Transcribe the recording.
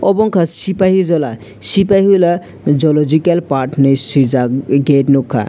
obo unka shipaijala shipaijala jological park hinei swi jaak gate nugkha.